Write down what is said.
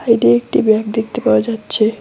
সাইডে একটি ব্যাগ দেখতে পাওয়া যাচ্ছে।